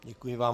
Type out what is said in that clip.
Děkuji vám.